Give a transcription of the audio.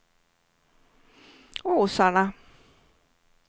Åsarna